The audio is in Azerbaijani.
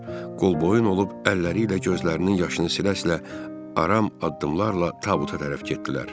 Və onlar qolboyun olub əlləri ilə gözlərinin yaşını silə-silə aram addımlarla tabuta tərəf getdilər.